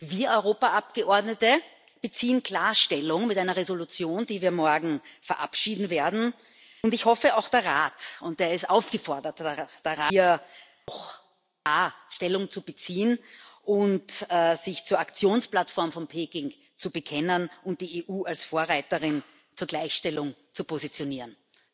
Wir Europaabgeordnete beziehen klar Stellung mit einer Entschließung, die wir morgen verabschieden werden, und ich hoffe, auch der Rat und der Rat ist aufgefordert, hier auch klar Stellung zu beziehen und sich zur Aktionsplattform von Peking zu bekennen und die EU als Vorreiterin zur Gleichstellung zu positionieren.